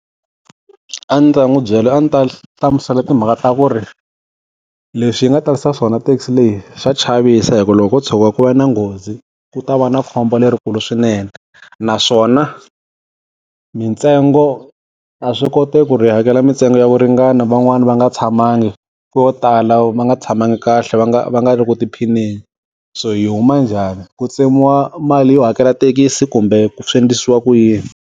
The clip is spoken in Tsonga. A ndzi ta n'wi byela a ndzi ta hlamusela timhaka ta ku ri, leswi yi nga tarisa swona taxi leyi swa chavisa hikuva loko ko tshuka ku va na nghozi, ku ta va na khombo lerikulu swinene. Naswona, mintsengo, a swi koteki ku ri hi hakela mintsengo ya kuringana van'wani va nga tshamangi. Vo tala va nga tshamangi kahle va nga va nga ri ku tiphineni. So hi yi huma njhani? Ku tsemiwa mali yo hakela thekisi kumbe swi endlisiwa ku yini?